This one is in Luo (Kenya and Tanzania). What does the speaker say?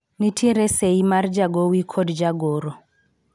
nitiere sei mar jagowi kod jagoro